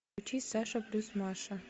включи саша плюс маша